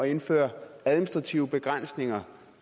indføre administrative begrænsninger og